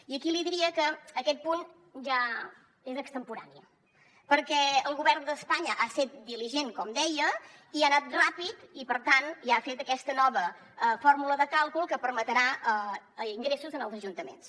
i aquí li diria que aquest punt ja és extemporani perquè el govern d’espanya ha sigut diligent com deia i ha anat ràpid i per tant ja ha fet aquesta nova fórmula de càlcul que permetrà ingressos als ajuntaments